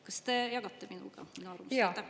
Kas te jagate seda arvamust?